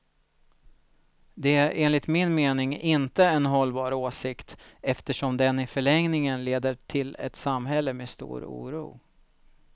Det är enligt min mening inte en hållbar åsikt, eftersom den i förlängningen leder till ett samhälle med stor oro.